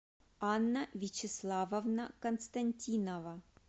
анна вячеславовна константинова